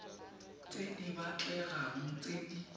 tse di batlegang tse di